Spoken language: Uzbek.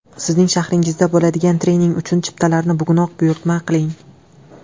Sizning shahringizda bo‘ladigan trening uchun chiptalarni bugunoq buyurtma qiling!